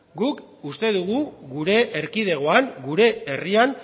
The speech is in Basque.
guk uste dugu gure erkidegoan gure herrian